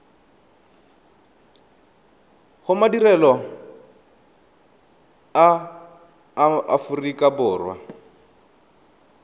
go madirelo a aforika borwa